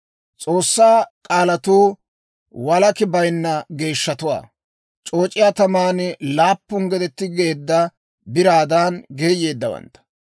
S'oossaa k'aalatuu walakki bayinna geeshshatuwaa; c'ooc'iyaa taman laappun gede tigetteedda biraadan geeyyeeddawantta.